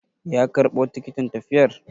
Ya karɓo tikitin tafiyar?